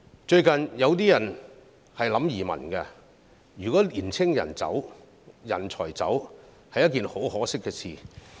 最近，有人考慮移民，如果青年人、人才離開，是一件很可惜的事。